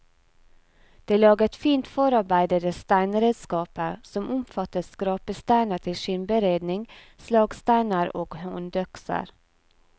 De laget fint forarbeidede steinredskaper, som omfattet skrapesteiner til skinnberedning, slagsteiner og håndøkser.